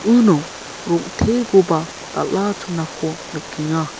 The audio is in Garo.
uno rong·tekoba dal·a chonako nikenga.